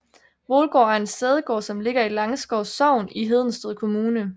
Hvolgaard er en sædegård som ligger i Langskov Sogn i Hedensted Kommune